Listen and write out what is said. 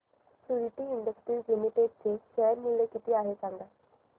Suditi industries limited चे share मूल्य किती आहे सांगा